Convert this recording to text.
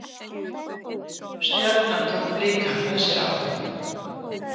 Stjarnan tók Blika með sér áfram